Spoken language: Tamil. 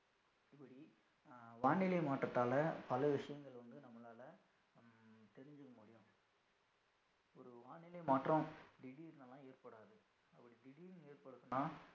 வானிலை மாற்றத்தால பல விஷயங்கள் வந்து நம்மளால வானிலை மாற்றம் திடீர்னு எல்லாம் ஏற்படாது அப்படி திடீருனு ஏற்படுத்துன்னா